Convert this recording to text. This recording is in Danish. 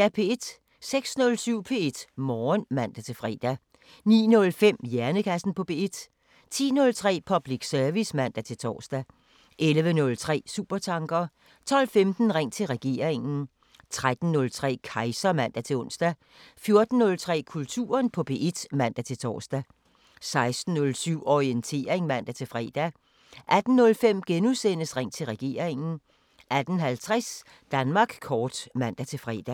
06:07: P1 Morgen (man-fre) 09:05: Hjernekassen på P1 10:03: Public service (man-tor) 11:03: Supertanker 12:15: Ring til regeringen 13:03: Kejser (man-ons) 14:03: Kulturen på P1 (man-tor) 16:07: Orientering (man-fre) 18:05: Ring til regeringen * 18:50: Danmark kort (man-fre)